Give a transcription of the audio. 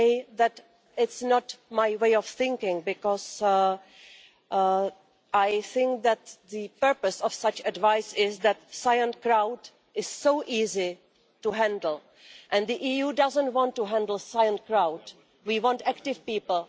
That's not my way of thinking because I think that the purpose of such advice is that a silent crowd is so easy to handle, and the EU doesn't want to handle a silent crowd, we want active people.